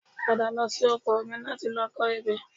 Padà lọ sí oko mi láti lọ kọ ebè